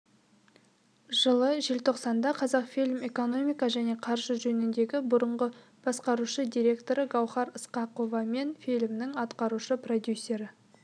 жылы желтоқсанда қазақфильм экономика және қаржы жөніндегі бұрынғы басқарушы директоры гауһар ысқақова мен фильмнің атқарушы продюсері